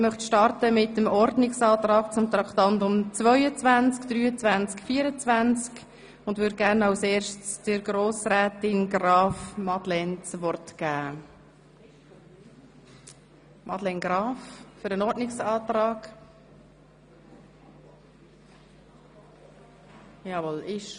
Ich beginne mit dem Ordnungsantrag zu den Traktanden 22, 23 und 24 und gebe Frau Grossrätin Graf das Wort zur Begründung ihres Ordnungsantrags.